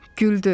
Güldü.